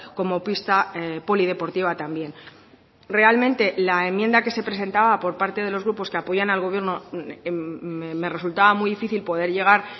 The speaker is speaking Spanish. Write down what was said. como pista polideportiva también realmente la enmienda que se presentaba por parte de los grupos que apoyan al gobierno me resultaba muy difícil poder llegar